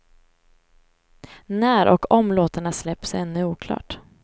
När och om låtarna släpps är ännu oklart.